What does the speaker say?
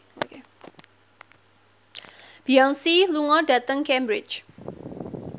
Beyonce lunga dhateng Cambridge